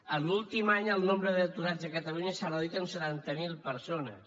en l’últim any el nombre d’aturats a catalunya s’ha reduït en setanta mil persones